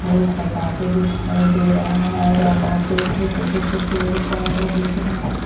पटाखे दिखाई दे रहा है और यहाँ पे छोटे छोटे पेड़ पौधे दिख रहे हैं ।